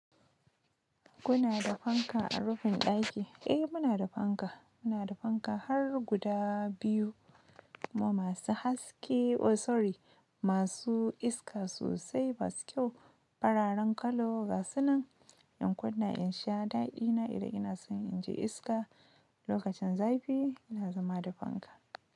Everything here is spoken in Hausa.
Kuna da fanka a rufin ɗaki? Eh muna da fanka, muna da fanka har guda biyu kuma masu haske oh sorry, masu iska sosai masu kyau fararen kalo gasunan in kunna in sha daɗina idan ina son in ji iska lokacin zafi ina zama da fanka.